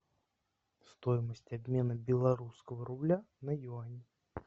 стоимость обмена белорусского рубля на юани